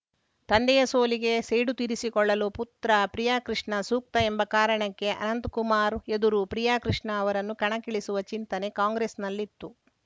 ತಂದೆಯ ಸೋಲಿಗೆ ಸೇಡು ತೀರಿಸಿಕೊಳ್ಳಲು ಪುತ್ರ ಪ್ರಿಯಕೃಷ್ಣ ಸೂಕ್ತ ಎಂಬ ಕಾರಣಕ್ಕೆ ಅನಂತಕುಮಾರ್‌ ಎದುರು ಪ್ರಿಯಕೃಷ್ಣ ಅವರನ್ನು ಕಣಕ್ಕಿಳಿಸುವ ಚಿಂತನೆ ಕಾಂಗ್ರೆಸ್‌ನಲ್ಲಿತ್ತು